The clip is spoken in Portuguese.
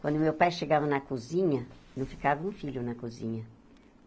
Quando meu pai chegava na cozinha, não ficava um filho na cozinha.